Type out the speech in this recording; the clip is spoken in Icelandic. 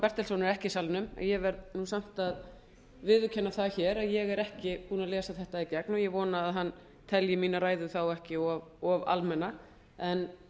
bertelsson er ekki í salnum ég verð nú samt að viðurkenna það hér að ég er ekki búin að lesa þetta í gegn og ég vona að hann telji mína ræðu ekki of almenna en